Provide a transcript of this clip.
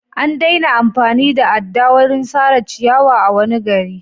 An daina amfani da adda wurin sare ciyawa a wani gari.